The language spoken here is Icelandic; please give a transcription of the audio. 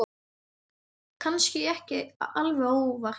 Kannski ekki alveg óvart.